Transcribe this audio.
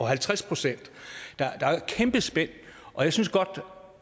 halvtreds procent der er et kæmpe spænd